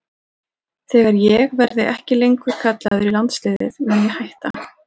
Þegar ég verði ekki lengur kallaður í landsliðið mun ég hætta.